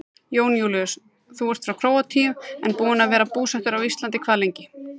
Jón Júlíus: Þú ert frá Króatíu en búinn að vera búsettur á Íslandi hvað lengi?